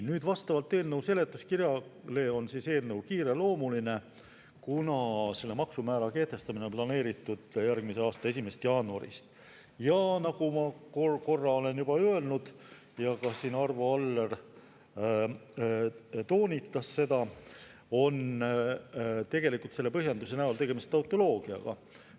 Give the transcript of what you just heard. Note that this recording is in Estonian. Nii, vastavalt eelnõu seletuskirjale eelnõu kiireloomuline, kuna selle maksumäära kehtestamine on planeeritud järgmise aasta 1. jaanuarist, ja nagu ma korra olen juba öelnud ja ka Arvo Aller toonitas seda, on selle põhjenduse näol tegemist tautoloogiaga.